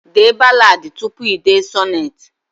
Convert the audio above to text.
Dee ballad tupu i dee sonnet